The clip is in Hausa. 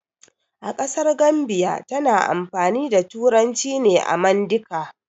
A ƙasar Gambiya tana amfani da turanci ne da mandika